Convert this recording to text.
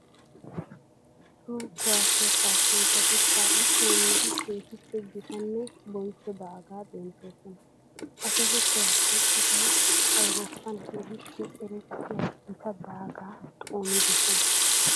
Toho kuwasiya kaassanchchatti kaa'i xooniddi keehippe gitanne bonchcho daaga denttosonna. Ha toho kuwasiya citay Awuuroppan keehippe erettiya gita daaga xoonidosonna.